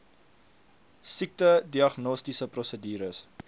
siekte diagnostiese prosedure